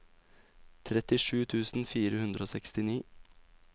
trettisju tusen fire hundre og sekstini